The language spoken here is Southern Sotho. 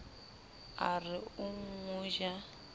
a re o mo ja